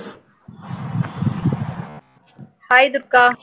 hai Durga